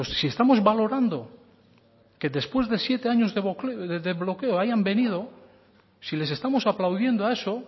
si estamos valorando que después de siete años de bloqueo hayan venido si les estamos aplaudiendo a eso